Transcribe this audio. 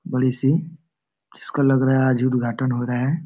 बड़ी सी जिसको लग रहा है आज उदघाटन हो रहा है।